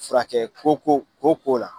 Furakɛ koko koko la